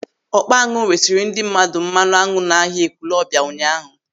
Ọkpa añụ resiri ndị mmadụ mmanụ añụ n'ahia Ekwúlọbia ụnyaahụ.